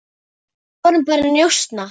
Við vorum bara að njósna,